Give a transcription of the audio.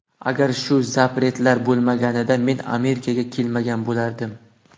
Agar shu ‘zapret’lar bo‘lmaganida men Amerikaga kelmagan bo‘lardim.